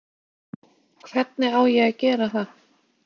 Hvernig á að ég að gera það?